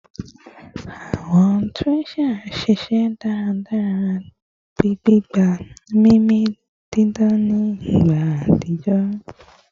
Awọn trachea ṣiṣẹ daradara, gbigba mimi didan ni igba atijọ